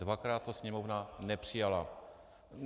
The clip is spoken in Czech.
Dvakrát to Sněmovna nepřijala.